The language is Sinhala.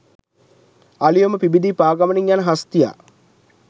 අලූයම පිබිදී පා ගමනින් යන හස්තියා